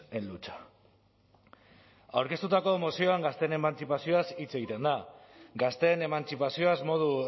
en lucha aurkeztutako mozioan gazteen emantzipazioaz hitz egiten da gazteen emantzipazioaz modu